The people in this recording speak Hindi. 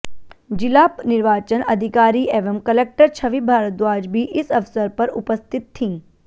जिला निर्वाचन अधिकारी एवं कलेक्टर छवि भारद्वाज भी इस अवसर पर उपस्थित थीं